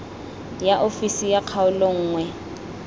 ya ofisi ya kgaolo nngwe